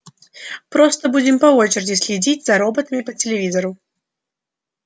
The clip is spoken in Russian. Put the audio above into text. просто будем по очереди следить за роботами по телевизору